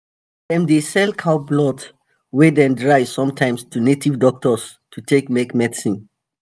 dem dey sell cow blood wey dem dry sometimes to native doctors to take make medicine.